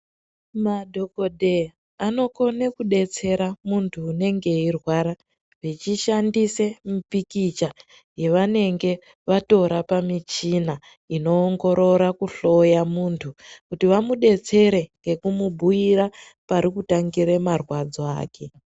Madhokodheya anokone kudetsera muntu unenge eirwara, vechishandise mipikicha yevanenge vatora pamichina inoongorora kuhloya muntu, kuti vamudetsere ngekumubhuira, pari kutangire marwadzo ake.